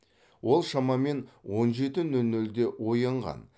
ол шамамен он жеті нөл нөлде оянған